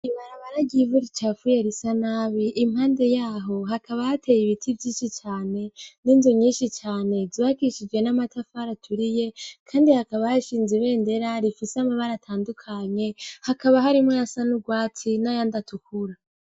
Ibarabara ryivura icafuye risa nabi impande yaho hakabahateye ibiti vy'inshi cane n'inzu nyinshi cane zakishije n'amatafara aturiye, kandi hakabashinze ibe ndera rifise amabara atandukanye hakaba harimwo ya san'urwatsi n'aya nd’atukura.